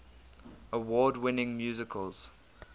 award winning musicals